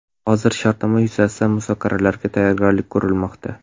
Hozir shartnoma yuzasidan muzokaralarga tayyorgarlik ko‘rilmoqda.